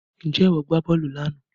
Ǹjẹ́ ìwọ gbá bọ́ọ̀lù lánàá